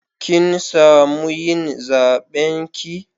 Kin samu yin zaben ki?